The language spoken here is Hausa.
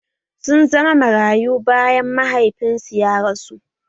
Sun zama marayu bayan mahaifinsu ya rasu